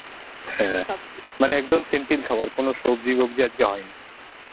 হ্যাঁ মানে একদম simple খাবার কোনো সবজি টোবজি আজকে হয়নি.